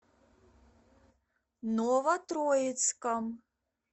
новотроицком